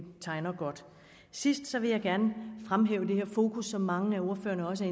tegner godt sidst vil jeg gerne fremhæve det her fokus som mange af ordførerne også